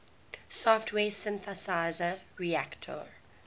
software synthesizer reaktor